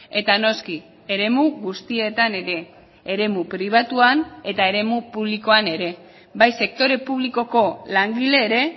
eta noski eremu guztietan ere eremu pribatuan eta eremu publikoan ere bai sektore publikoko langile ere